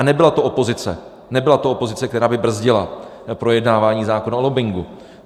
A nebyla to opozice, nebyla to opozice, která by brzdila projednávání zákona o lobbingu.